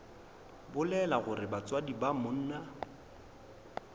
bolela gore batswadi ba monna